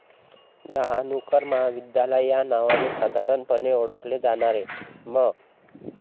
डहाणूकर महाविद्यालय या नावाने साधारणपणे ओळखले जाणारे म.